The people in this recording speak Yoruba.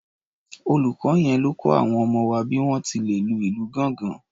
Olùkọ yẹn ló kọ àwọn ọmọ wa bí wọ́n ti lè lu ìlù gángan.